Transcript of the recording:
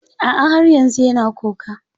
A'a, har yanzu yana kuka.